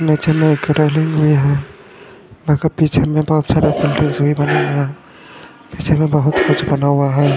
नीचे में एक रेलिंग भी है पीछे में बहत सारा पीछे में बहत कुछ बना हुआ है।